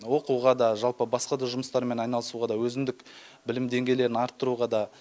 оқуға да жалпы басқа да жұмыстармен айналысуға да өзіндік білім деңгейлерін арттыруға да